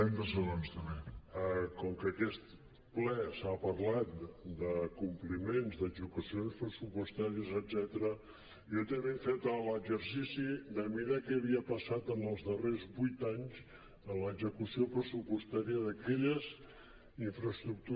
com que en aquest ple s’ha parlat de compliments d’execucions pressupostàries etcètera jo també he fet l’exercici de mirar què havia passat en els darrers vuit anys en l’execució pressupostària d’aquelles infraestructures que són responsabilitat del govern de la generalitat